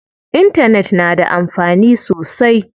Intanet na da amfani sosai.